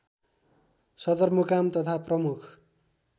सदरमुकाम तथा प्रमुख